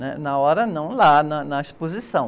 Né? Na hora, não, lá na, na exposição.